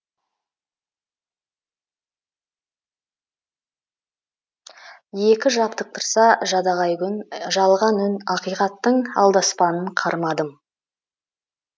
екі жабықтырса жадағай күн жалған үн ақиқаттың алдаспанын қармадым